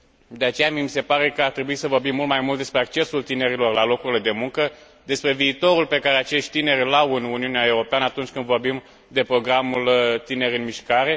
De aceea, mie mi se pare că ar trebui să vorbim mult mai mult despre accesul tinerilor la locurile de muncă, despre viitorul pe care acești tineri îl au în Uniunea Europeană, atunci când vorbim de programul Tineri în mișcare.